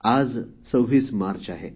आज २६ मार्च आहे